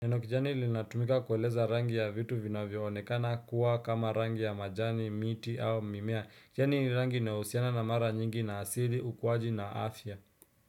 Neno kijani linatumika kueleza rangi ya vitu vinavyoonekana kuwa kama rangi ya majani, miti au mimea. Kijani ni rangi inayohusiana mara nyingi na asili, ukuaji na afya.